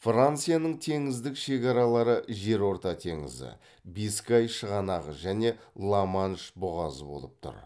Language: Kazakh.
францияның теңіздік шекаралары жерорта теңізі бискай шығанағы және ла манш бұғазы болып тұр